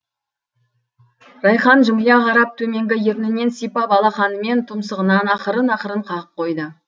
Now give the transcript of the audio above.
райқан жымия қарап төменгі ернінен сипап алақанымен тұмсығынан ақырын ақырын қағып қойды